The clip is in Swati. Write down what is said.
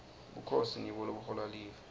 bukhosi ngibo lobuhola live